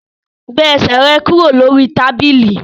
Gbé ẹsẹ̀ rẹ kúrò lórí tábìlì!